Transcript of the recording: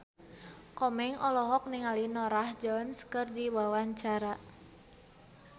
Komeng olohok ningali Norah Jones keur diwawancara